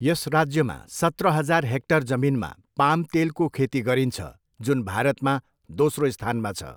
यस राज्यमा सत्र हजार हेक्टर जमिनमा पाम तेलको खेती गरिन्छ, जुन भारतमा दोस्रो स्थानमा छ।